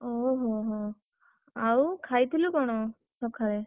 ଓହୋ ହୋ, ଆଉ ଖାଇଥିଲୁ କଣ, ସକାଳେ?